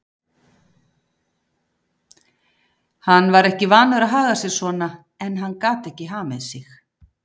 Hann var ekki vanur að haga sér svona en hann gat ekki hamið sig.